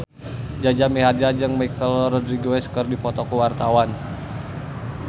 Jaja Mihardja jeung Michelle Rodriguez keur dipoto ku wartawan